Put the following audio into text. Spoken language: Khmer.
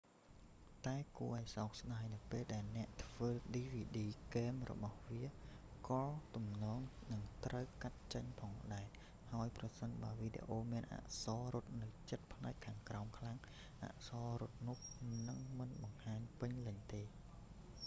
តែគួរឱ្យសោកស្ដាយ នៅពេលដែលអ្នកធ្វើឌីវីឌី គែមរបស់វាក៏ទំនងជានឹងត្រូវកាត់ចេញផងដែរ ហើយប្រសិនបើវីដេអូមានអក្សររត់នៅជិតផ្នែកខាងក្រោមខ្លាំង អក្សររត់នោះនឹងមិនបង្ហាញពេញលេញទេ